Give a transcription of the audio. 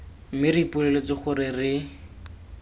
mme re ipoleletse gore re